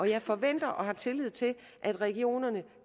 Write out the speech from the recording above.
jeg forventer og har tillid til at regionerne